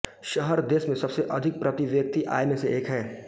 शहर देश में सबसे अधिक प्रति व्यक्ति आय में से एक है